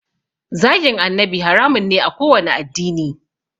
Zagin annabi haramun ne a kowanne addini